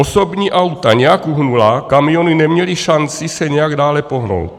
Osobní auta nějak uhnula, kamiony neměly šanci se nějak dále pohnout.